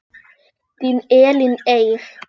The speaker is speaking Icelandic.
Þín Elín Eir.